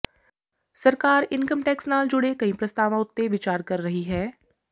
ਸਰਕਾਰ income tax ਨਾਲ ਜੁੜੇ ਕਈ ਪ੍ਰਸਤਾਵਾਂ ਉੱਤੇ ਵਿਚਾਰ ਕਰ ਰਹੀ ਹੈ